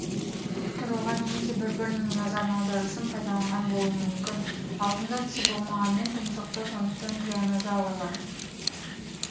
тұруға немесе бір-бірінің назарын аудару үшін пайдаланған болуы мүмкін аузында тісі болмағанымен тұмсықты сондықтан тираннозаврлар